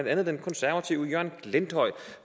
andet den konservative jørgen glenthøj